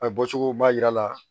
A ye bɔcogo ba yira a la